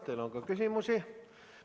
Teile on ka küsimusi.